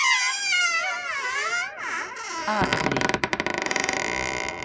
Akri